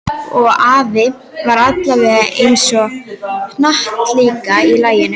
Og afi var alveg eins og hnattlíkan í laginu.